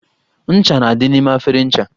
Ncha na-adị n'ime efere ncha